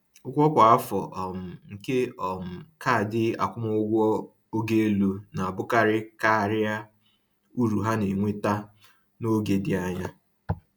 Ụgwọ kwa afọ um nke um kaadị akwụmụgwọ ogo elu na-abụkarị karịa uru ha na-ewetara n’oge dị anya